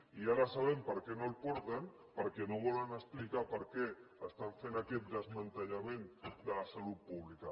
i ara sabem perquè no el porten perquè no volen explicar per què estan fent aquest desmantellament de la salut pública